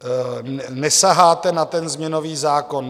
Nesaháte na ten změnový zákon.